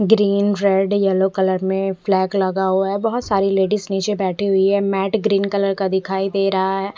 Green red yellow colour में flex लगा हुआ है बोहोत सारी लेडीज निचे बेठी हुई है मेट ग्रीन कलर का दिखाई दे रहा है।